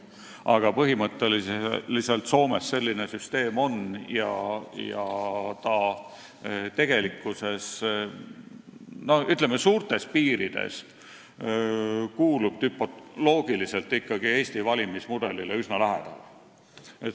Aga põhimõtteliselt Soomes selline süsteem kehtib ja on tegelikkuses, ütleme, suurtes piirides loogiliselt Eesti valimismudelile üsna lähedal.